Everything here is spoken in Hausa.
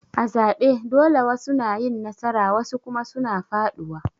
A zabe dole wasu na yin nasara wasu kuma suna faduwa.